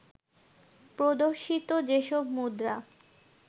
প্রদর্শিত যেসব মুদ্রা